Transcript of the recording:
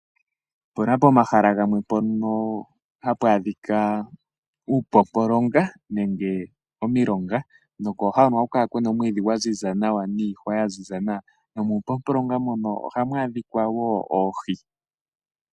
Opuna pomahala gamwe mpono ha pu adhika uupopolonga nenge omilongo nokooha hono oha ku kala kuna omiidhi niihwa yaziza nawa, muupopolonga oha mu adhika wo Oohi.